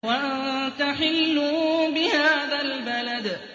وَأَنتَ حِلٌّ بِهَٰذَا الْبَلَدِ